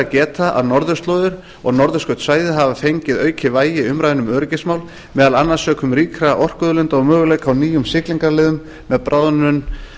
geta að norðurslóðir og norðurskautssvæðið hafa fengið aukið vægi í umræðunni um öryggismál meðal annars sökum ríkra orkuauðlinda og möguleika á nýjum siglingaleiðum með bráðnun